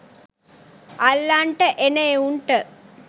අල්ලන්ට එන එවුන්ට